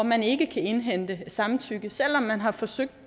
man ikke kan indhente samtykke selv om man har forsøgt